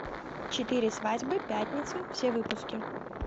четыре свадьбы пятница все выпуски